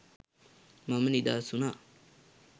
මම නිදහස් වුණා